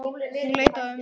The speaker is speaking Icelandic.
Hún leit á ömmu.